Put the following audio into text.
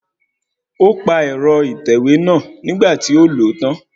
O pa ẹ̀rọ ìtẹ̀wẹ́ náà nígbà tí ó lòó tán